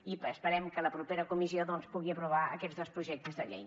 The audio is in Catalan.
i esperem que la propera comissió doncs pugui aprovar aquests dos projectes de llei